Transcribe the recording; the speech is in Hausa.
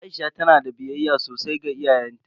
Aisha na da biyayya sosai ga iyayenta.